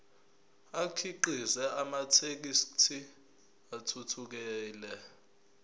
akhiqize amathekisthi athuthukile